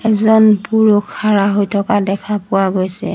এজন পুৰুষ খাৰা হৈ থকা দেখা পোৱা গৈছে।